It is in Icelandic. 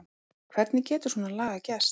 Hvernig getur svona lagað gerst?